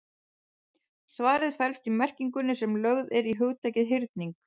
Svarið felst í merkingunni sem lögð er í hugtakið hyrning.